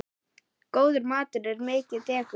Góður matur er mikið dekur.